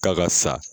K'a ka sa